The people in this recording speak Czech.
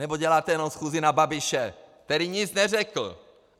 Nebo děláte jenom schůzi na Babiše, který nic neřekl?